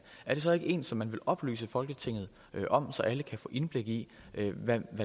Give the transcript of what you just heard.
er det så ikke en som man vil oplyse folketinget om så alle kan få indblik i hvad